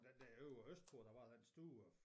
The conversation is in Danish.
Der derovre østpå der var den store